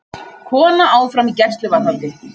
Kona áfram í gæsluvarðhaldi